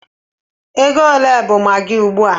Ego ole bụ maggi ugbu a?